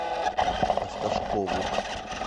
осташкову